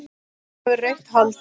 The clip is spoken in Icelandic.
Hann hefur rautt hold.